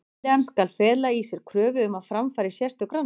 Tillagan skal fela í sér kröfu um að fram fari sérstök rannsókn.